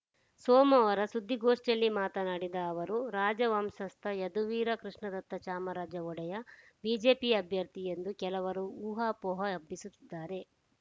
ಸೋಮವಾರ ಸುದ್ದಿಗೋಷ್ಠಿಯಲ್ಲಿ ಮಾತನಾಡಿದ ಅವರು ರಾಜವಂಶಸ್ಥ ಯದುವೀರ ಕೃಷ್ಣದತ್ತ ಚಾಮರಾಜ ಒಡೆಯ ಬಿಜೆಪಿ ಅಭ್ಯರ್ಥಿ ಎಂದು ಕೆಲವರು ಊಹಾಪೋಹ ಹಬ್ಬಿಸುತ್ತಿದ್ದಾರೆ